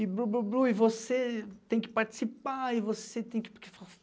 E você tem que participar. E você tem que